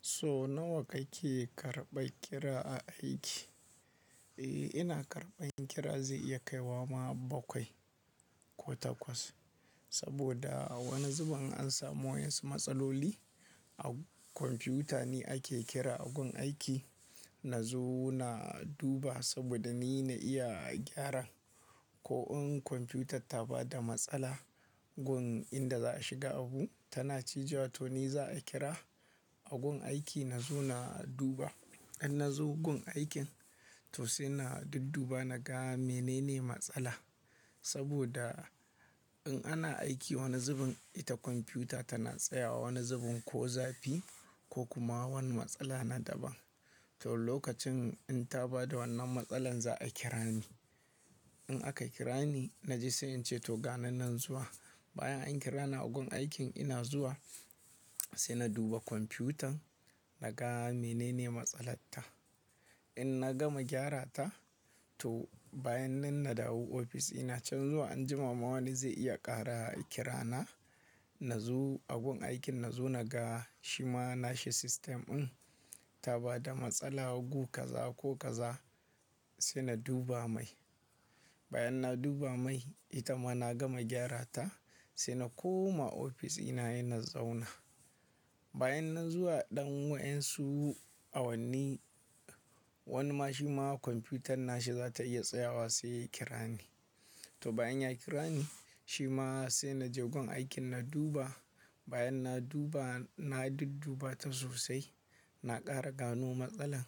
So nawa kake karɓan kira a aiki? Eh, ina karɓan kira zai iya kaiwa ma bakwai ko takwas. Saboda a wani zubin in samu wasu matsaloli a kwamfuta ni ake kira a gun aiki. Na zo na duba saboda ni na iya gyara. Ko in kwamfuta ta ba da matsala gun inda za a shiga abu tana cijewa to ni za a kira. A gun aiki na zo na duba. In na zo gun aikin to sai na dudduba na ga menene matsala. Saboda in ana aiki wani zubin ita kwamfuta tana tsayawa wani zubin ko zafi ko kuma wani matsala na daban. To lokacin in ta ba da wannan matsala za a kira ni. In aka kira ni, na je sai in ce to gani nan zuwa. Bayan an kira na gun aikin ina zuwa sai na duba kwamfutan na ga menene matsalar ta. In na gama gyara ta to bayan nan na dawo ofis dina can zuwa anjima ma wani zai iya ƙara kira na. Na zo gun aikin na zo na ga shi ma na shi ssytem din ta ba da matsala gu kaza ko kaza sai na duba mai. Bayan na duba mai ita ma na gama gyara ta sai na koma ofis dina he na zauna. Bayan nan zuwa ɗan wayan su a wani ma shi ma kwamfutan na shi za ta iya tsayawa sai kira ni. To bayan ya kira ni shi ma sai na je gun aikin na duba. Bayan na duba na dudduba ta sosai na ƙara gano matsalar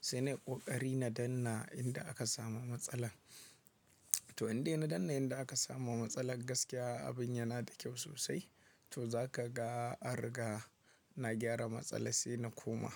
sai na yi ƙoƙari na danna inda aka samu matsalar. To inda ina danna inda aka samu matsalar gaskiya abin yana da kyau sosai. To za ka ga ariga na gyara matsala sai na koma.